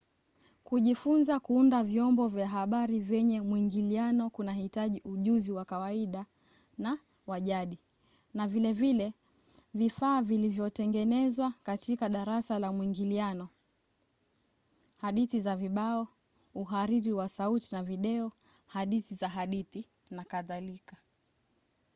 kujifunza kuunda vyombo vya habari vyenye mwingiliano kunahitaji ujuzi wa kawaida na wa jadi na vile vile vifaa vilivyotengenezwa katika darasa la mwingiliano hadithi za vibao uhariri wa sauti na video hadithi za hadithi nk.